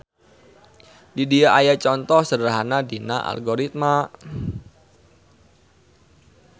Di dieu aya conto sederhana dina algoritma.